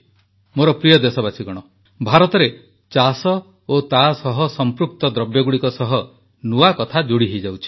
ମୋର ପ୍ରିୟ ଦେଶବାସୀଗଣ ଭାରତରେ ଚାଷ ଓ ତାସହ ସଂପୃକ୍ତ ଜିନିଷଗୁଡ଼ିକ ସହ ନୂଆ କଥା ଯୋଡ଼ି ହୋଇଯାଉଛି